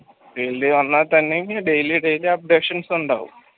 field ൽ വന്നാൽ തന്നെയും daily daily updations ഉണ്ടാവും